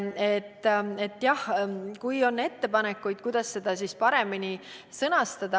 Võite teha ettepanekuid, kuidas seda paremini sõnastada.